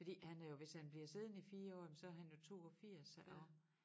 Fordi han er jo hvis han bliver siddende i 4 år jamen så han jo 82 og